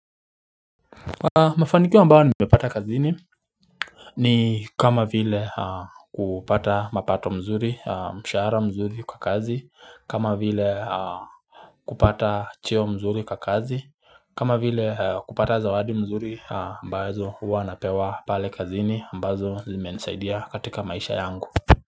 Mafanikio ambao nimepata kazini. Ni kama vile kupata mapato mzuri, mshara mzuri kwa kazi, kama vile kupata cheo mzuri kwa kazi kama vile kupata zawadi mzuri ambazo huwa napewa pale kazini ambazo zimenisaidia katika maisha yangu.